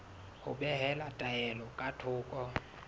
ho behela taelo ka thoko